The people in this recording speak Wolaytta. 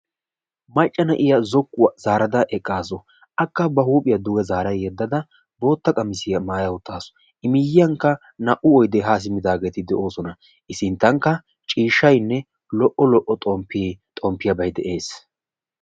Macca na'iya zokkuwa zaarada eqqaasu. Akka ma huuphiya duge zaara yeddada bootta qamisiya maaya uttaasu. I miiyiyankka naa''u oydee haa simmidaageeti de'oosona. I sinttankka ciishshaynne lo''o lo''o xomppee xomppiyabay de'ees.